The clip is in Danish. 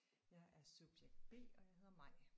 Jeg er subjekt B og jeg hedder Mai